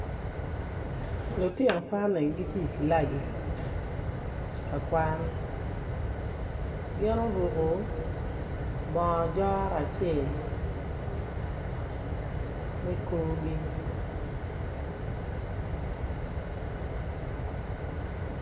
Lutgino kwan-ni giti i kilaci ka kwan gin oruko bongo jora acel me korgi